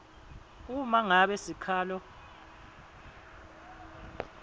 uma ngabe sikhalo